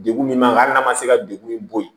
Degun min b'an kan hali n'a ma se ka degun min bo yen